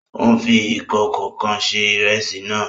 Ó ń fi ìkòkò kan se ìrẹsì náà